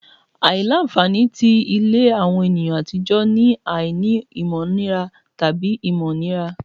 Aila-nfani ti ile awọn eniyan atijọ ni aini ominira tabi ominira